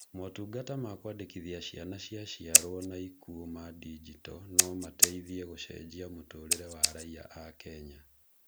Motungata ma kũandĩkithia ciana cia ciarwo na ikuo ma ndinjito no mateithie gũcenjia mũtũrĩre wa raiya a Kenya.